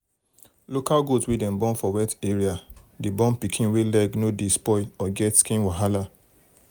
local goat wey dem born for wet area dey born pikin wey leg no dey spoil or get skin wahala.